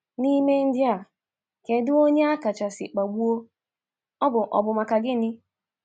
N’ime ndị a, kedụ onye akachasị kpagbuo, ọ bụ maka gịnị?